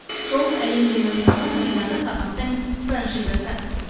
шоу әлемде мойындалған британдық форматтың франшизасы